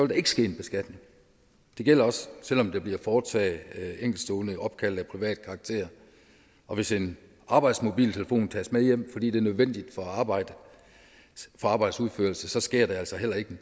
der ikke ske en beskatning det gælder også selv om der bliver foretaget enkeltstående opkald af privat karakter og hvis en arbejdsmobiltelefon tages med hjem fordi det er nødvendigt for arbejdets udførelse så sker der altså heller ikke